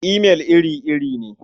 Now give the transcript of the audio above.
Imail iri-iri ne.